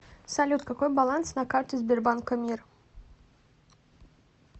салют какой баланс на карте сбербанка мир